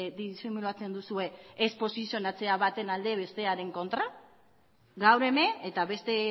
disimulatzen duzue ez posizionatzea baten alde bestearen kontra gaur hemen eta beste